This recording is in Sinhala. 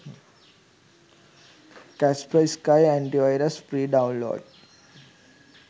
kaspersky antivirus free download